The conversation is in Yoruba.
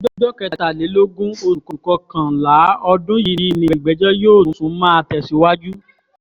ọjọ́ kẹtàlélógún oṣù kọkànlá ọdún yìí ni ìgbẹ́jọ́ yóò tún máa tẹ̀síwájú